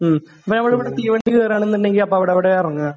മ്മ്. നമ്മൾ ഇവിടെ തീവണ്ടി കേറുകയാണെന്നുണ്ടെങ്കിൽ അപ്പോൾ അവിടെ എവിടെയാ ഇറങ്ങുക?